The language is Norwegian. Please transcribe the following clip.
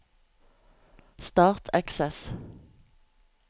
Start Access